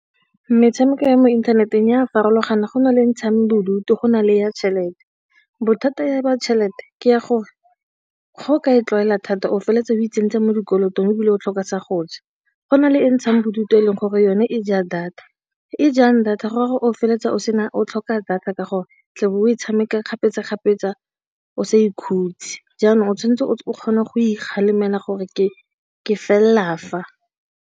Metshameko ya mo inthanetenge a farologana go na le ntshang bodutu go na le ya tšhelete bothata. Ya tšhelete ke ya gore ga o ka e tlwaela thata o feleletsa o itseng ntseng mo dikolotong ebile o tlhoka sa go ja go na le ntshang bodutu, e leng gore yone e ja data e jang data gore o feleletsa o sena o tlhoka data ka gore o tle o bo o e tshameka kgapetsa-kgapetsa o sa ikhutse jaanong, o tshwanetse o kgona go ikgalemela gore ke ke felela fa.